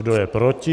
Kdo je proti?